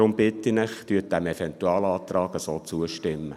Daher bitte ich Sie, dem Eventualantrag so zuzustimmen.